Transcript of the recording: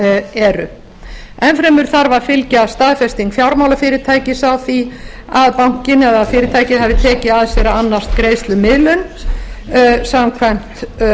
eru enn fremur þarf að fylgja staðfesting fjármálafyrirtækis á því að bankinn eða fyrirtækið hafi tekið að sér að annast greiðslumiðlun samkvæmt